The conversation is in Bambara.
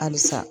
Halisa